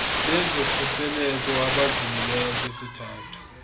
bezokhuseleko abadlulileyo kwisithathu